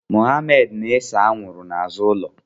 Mohammed na-ese anwụrụ n'azụ ụlọ.